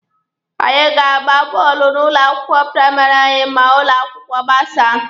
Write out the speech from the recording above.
Anyị ga-agba bọọlụ n'ụlọ akwụkwọ praịmarị anyị ma ụlọ akwụkwọ gbasaa.